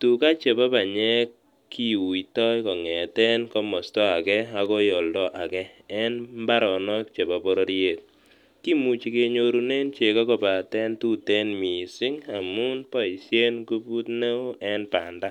tugaa chepo panyek kiuito kong'eten komosta ake akoi oldo ake en mbaronok chepo bororiet, kimuche kenyorunen cheko kopaten tuten miising amun boisien nguput neo en banda.